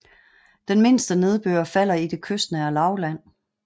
Den mindste nedbør falder i det kystnære lavland